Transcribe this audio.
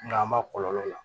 Nka an ma kɔlɔlɔ la